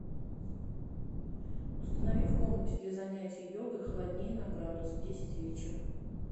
установи в комнате для занятия йогой холоднее на градус в десять вечера